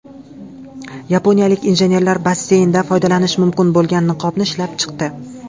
Yaponiyalik injenerlar basseynda foydalanish mumkin bo‘lgan niqobni ishlab chiqdi.